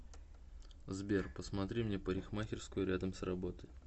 сбер посмотри мне парикмахерскую рядом с работой